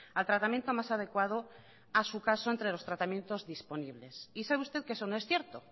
al tratamiento más adecuado a su caso entre los tratamientos disponibles y sabe usted que eso no es cierto